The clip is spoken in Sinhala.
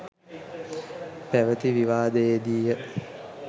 පැවති විවාදයේදීය.